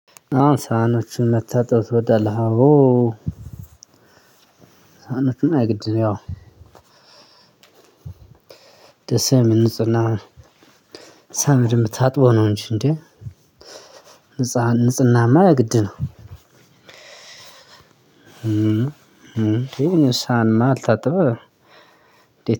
አሁን ሳህኖችን መታጠብ ትወዳለህ? አዎ ሳህኖችን የግድ ነው። ያው ደስ የምል ንጽህና። ሰሀኖች ታጥቦ ነው። እንጂ እንዴ ንጽህናማ የግድ ነው። እንዴ? ስሃን ያልታጠበ